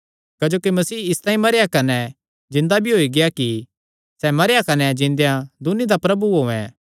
क्जोकि मसीह इसतांई मरेया कने जिन्दा भी होई गेआ कि सैह़ मरेयां कने जिन्देया दून्नी दा प्रभु होयैं